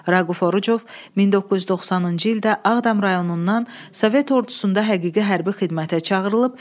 Raquf Orucov 1990-cı ildə Ağdam rayonundan Sovet ordusunda həqiqi hərbi xidmətə çağırılıb.